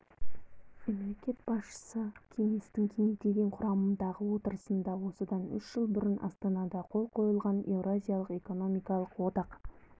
мемлекет басшысы кеңестің кеңейтілген құрамдағы отырысында осыдан үш жыл бұрын астанада қол қойылған еуразиялық экономикалық одақ